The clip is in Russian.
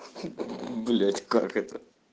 блять как это